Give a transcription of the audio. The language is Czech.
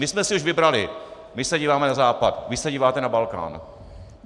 My jsme si už vybrali, my si díváme na Západ, vy se díváte na Balkán.